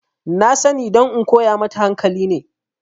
Na sani don in koya mata hankali ne